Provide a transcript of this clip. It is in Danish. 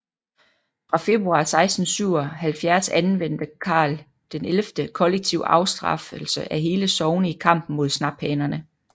Fra februar 1677 anvendte Karl XI kollektiv afstraffelse af hele sogne i kampen mod snaphanerne